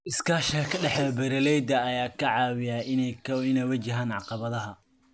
Iskaashiga ka dhexeeya beeralayda ayaa ka caawiya in ay wajahaan caqabadaha.